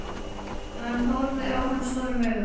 Hann horfði á hann stórum augum.